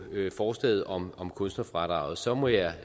forslaget om om kunstnerfradraget så vil jeg